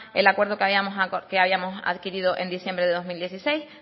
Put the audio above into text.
el acuerdo que habíamos adquirido en diciembre de dos mil dieciséis